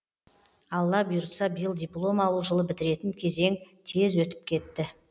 алла бұйыртса биыл диплом алу жылы бітіретін кезең тез өтіп кетті